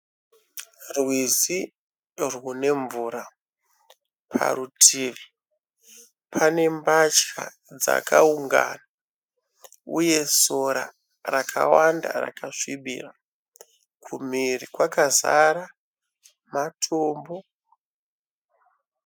Rwizi rwune mvura parutivi. Pane mbatya dzakaungana. Uye sora rakawanda rakasvibira. Kumhiri kwakazara matombo.